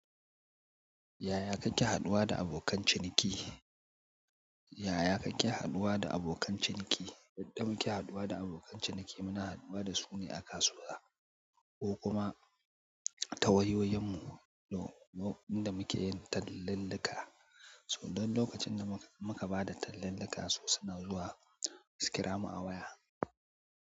Yaya kake haɗuwa da abokan ciniki? Yaya kake haɗuwa da abokan ciniki? Yadda muke haɗuwa da abokan ciniki muna haɗuwa da su ne a kasuwa ko kuma ta wayoyyan mu. Na lokacin da muke yin tallan lalka, sa don lokacin da muka bada tallan lalka su suna zuwa su kira mu a waya.